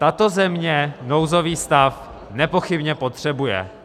Tato země nouzový stav nepochybně potřebuje.